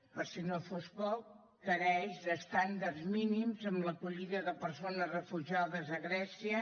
per si fos poc manca d’estàndards mínims en l’acollida de persones refugiades a grècia